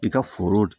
I ka foro